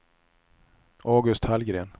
August Hallgren